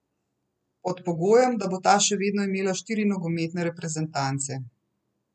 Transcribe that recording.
Pod pogojem, da bo ta še vedno imela štiri nogometne reprezentance.